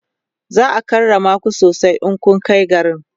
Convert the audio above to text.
za'a karrama ku sosai in kunkai garin